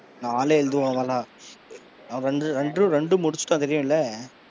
நாலும் எழுதுவான் அவனெல்லாம் அவன் ரெண்டு ரெண்டும் முடிச்சுட்டான் தெரியுமுல்ல.